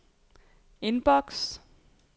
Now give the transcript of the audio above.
inbox